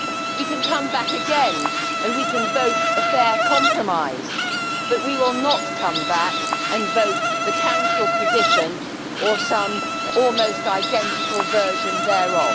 We can come back again and we can vote a fair compromise, but we will not come back and vote the Council position or some almost identical version thereof.